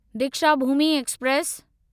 Deekshabhoomi express